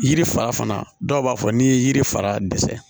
Yiri fa fana dɔw b'a fɔ n'i ye yiri fara dɛsɛ